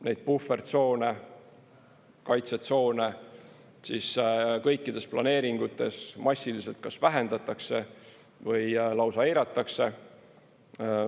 Neid puhvertsoone, kaitsetsoone kõikides planeeringutes massiliselt kas vähendatakse või lausa eiratakse.